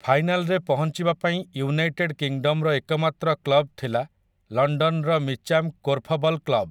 ଫାଇନାଲରେ ପହଞ୍ଚିବା ପାଇଁ ୟୁନାଇଟେଡ୍ କିଙ୍ଗଡମ୍ ର ଏକମାତ୍ର କ୍ଲବ୍‌ ଥିଲା ଲଣ୍ଡନର ମିଚାମ୍ କୋର୍ଫବଲ୍ କ୍ଲବ୍‌ ।